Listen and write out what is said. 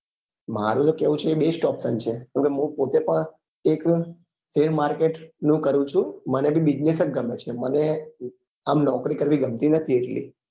મારું એ કેવું best option છે કેમ કે હું પોતે પણ એક shear market નું કરું છું મને બી business જ ગમે છે મને આમ નોકરી કરવી ગમતી નથી એટલી